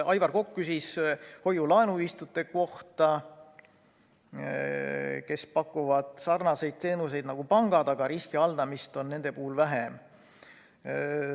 Aivar Kokk küsis hoiu-laenuühistute kohta, kes pakuvad sarnaseid teenuseid nagu pangad, aga riski haldamist on nende puhul vähem.